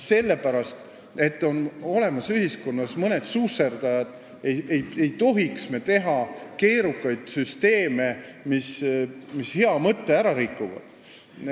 Sellepärast, et ühiskonnas on olemas mõned susserdajad, ei tohiks me teha keerukaid süsteeme, mis hea mõtte ära rikuvad.